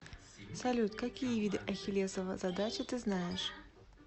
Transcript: салют какие виды ахиллесова задача ты знаешь